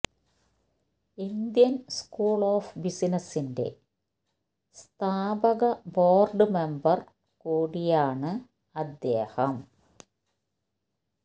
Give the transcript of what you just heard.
Indian school of ബിസിനസിന്റെ സ്ഥാപക board member കുടിയാണ് അദ്ദേഹം